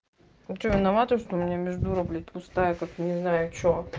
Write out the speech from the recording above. ну что я виновата что у меня между рог блядь пустая как не знаю что